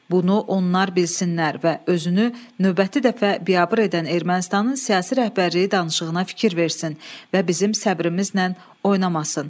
Bunu onlar bilsinlər və özünü növbəti dəfə biabır edən Ermənistanın siyasi rəhbərliyi danışığa fikir versin və bizim səbrimizlə oynamasın.